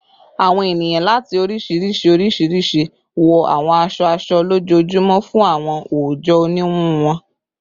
Awọn eniyan lati oriṣiriṣi oriṣiriṣi wọ awọn aṣọ-aṣọ lojoojumọ fun awọn oojọ oniwun wọn